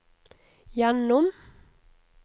gjennom